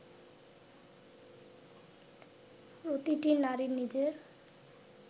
প্রতিটি নারীর নিজের